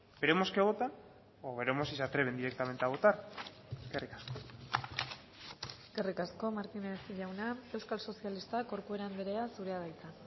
veremos qué votan o veremos si se atreven directamente a votar eskerrik asko eskerrik asko martínez jauna euskal sozialistak corcuera anderea zurea da hitza